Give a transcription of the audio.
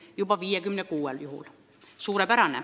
Suurepärane!